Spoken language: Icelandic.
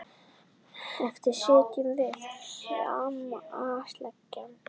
Eftir sitjum við harmi slegin.